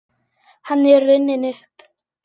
Hann er runninn upp.